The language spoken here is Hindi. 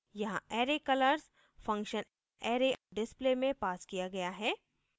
यहाँ array colors function array _ display में passed किया गया है